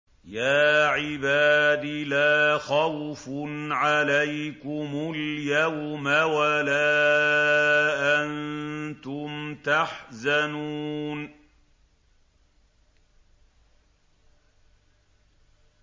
يَا عِبَادِ لَا خَوْفٌ عَلَيْكُمُ الْيَوْمَ وَلَا أَنتُمْ تَحْزَنُونَ